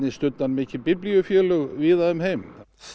studdi hann mikið víða um heim